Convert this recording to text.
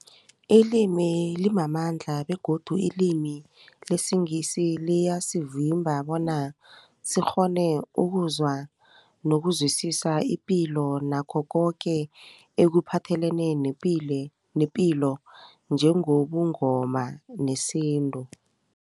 Ilimi limamandla begodu ilimi lesiNgisi liyasivimba bona sikghone ukuzwa nokuzwisisa ipilo nakho koke ekuphathelene nepilo njengobuNgoma nesintu.